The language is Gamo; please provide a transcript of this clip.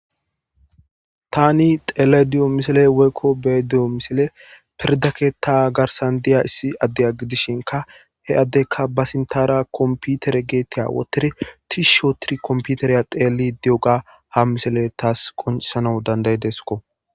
Tani xele diyo misile woykko bee di7o misile pirdake ta garsan diya issi addeya gidishinka he addekka ba sintara kompiutere geetiya wotiri tishshootiri komputereya xeeli di7oga ha misile taas konsana dandayi deskko.